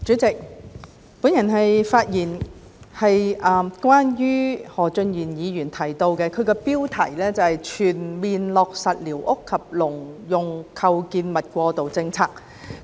主席，我的發言是關於何俊賢議員提出標題為"全面落實寮屋及農用構築物過渡政策"的議案。